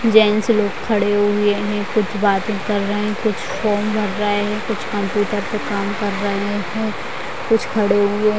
gents लोग खड़े हुए है कुछ बाते कर रहे है कुछ फॉर्म भर रहे है कुछ कम्प्यूटर पे काम कर रहे है कुछ खड़े हुए --